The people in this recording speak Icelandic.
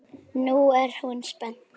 Nú er hún spennt.